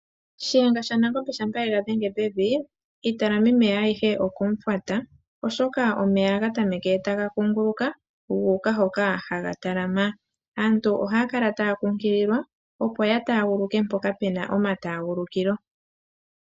Shiyenga shanangombe shampa ye ga dhenge pevi, iitalamimeya ayihe okumufwata, oshoka omeya ohaga tameke taga kuunguluka, gu uka hoka haga talama. Aantu ohaya kala taya kunkililwa, opo ya taaguluke mpoka puna omataagulukilo.